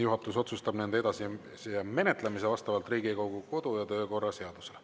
Juhatus otsustab nende edasise menetlemise vastavalt Riigikogu kodu- ja töökorra seadusele.